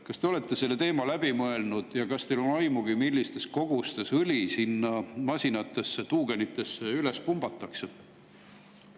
Kas te olete selle teema läbi mõelnud ja kas teil on aimu, millistes kogustes õli sinna masinatesse, tuugenitesse üles pumbatakse?